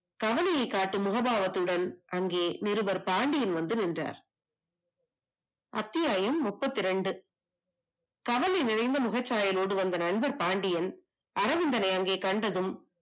கவலையை காட்டும் முக பாவத்துடன் அங்கே இருவர் பாண்டியன் வந்து நின்றார் அத்தியாயம் முப்பத்தி இரண்டு கவலை நிறைந்த முகபாவனோடு வந்த பாண்டியன் அரவிந்தன் அங்கே கண்டதும்